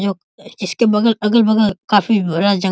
जो इसके बगल अगल-बगल काफी बड़ा जंगल --